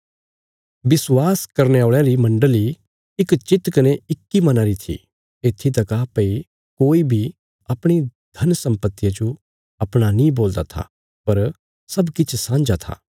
विश्वास करने औल़यां री मण्डली इक चित कने इक्की मना री थी येत्थी तका भई कोई बी अपणी धन सम्पतिया जो अपणा नीं बोलदा था पर सब किछ सांझा था